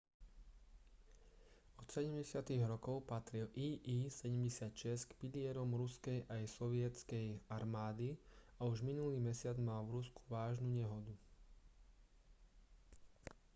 od 70. rokov patril il-76 k pilierom ruskej aj sovietskej armády a už minulý mesiac mal v rusku vážnu nehodu